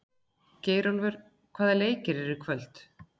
Geirólfur, hvaða leikir eru í kvöld?